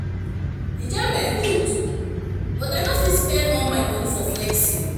Enjoyment good, but I no fit spend all my money for flexing.